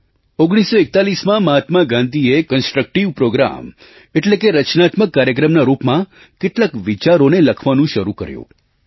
1941માં મહાત્મા ગાંધીએ constructive programme constructive પ્રોગ્રામે એટલે કે રચનાત્મક કાર્યક્રમના રૂપમાં કેટલાક વિચારોને લખવાનું શરૂ કર્યું